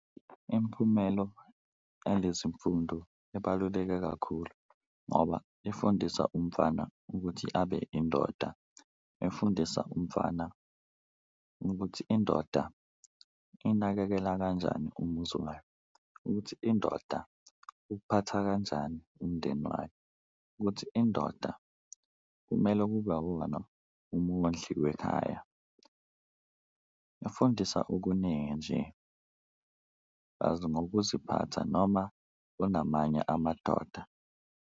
Imiphumelo yalezi mfundo ibaluleke kakhulu ngoba ifundisa umfana ukuthi abe indoda, ifundisa umfana ukuthi indoda inakekela kanjani umuzi wayo, ukuthi indoda iwuphatha kanjani umndeni wayo, ukuthi indoda kumele kube iwona umondli wekhaya. Ifundisa okuningi nje plus ngokuziphatha noma unamanye amadoda.